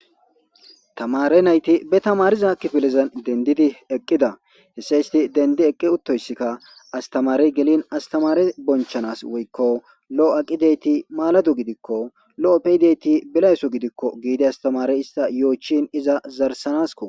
tamare nayti be tamariza kifillizan dendidi eqqida hesse isti dendi eqqi uttoyssikka astamarey gelin astamare bonchanas woykko lo7o aqideyti maaladu gidikko lo7o peyideyti bilayso gidikko giide astamarey ista yo7ochin iza zarsanasko.